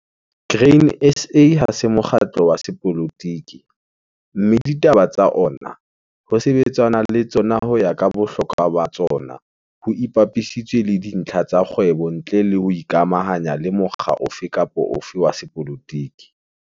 Grain SA ha se mokgatlo wa sepolotiki, mme ditaba tsa ona ho sebetsanwa le tsona ho ya ka bohlokwa ba tsona ho ipapisitswe le dintlha tsa kgwebo ntle le ho ikamahanya le mokga ofe kapa ofe wa sepolotiki.